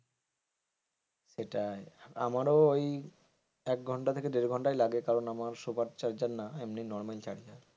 সেটাই আমারও ওই এক ঘন্টা থেকে দেড় ঘন্টাই লাগে কারণ আমার সুপার চার্জার নয় এমনি নর্মাল চার্জার।